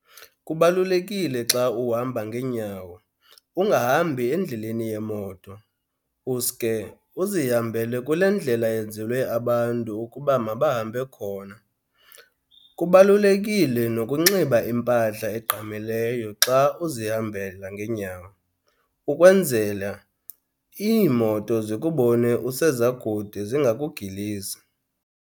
Kubalulekile xa uhamba ngeenyawo ungahambi endleleni yemoto uske uzihambele kule ndlela yenzelwe abantu ukuba mabahambe khona. Kubalulekile nokunxiba impahla egqamileyo xa uzihambela ngeenyawo, ukwenzela iimoto zikubone useza kude zingakugilisi.